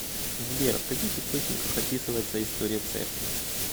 сбер в каких источниках описывается история церкви